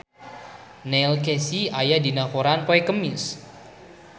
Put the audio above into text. Neil Casey aya dina koran poe Kemis